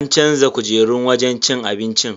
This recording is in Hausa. An canza kujerun wajen cin abincin.